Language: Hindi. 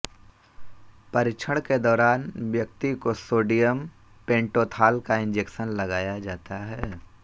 परीक्षण के दौरान व्यक्ति को सोडियम पेंटोथॉल का इंजेक्शन लगाया जाता है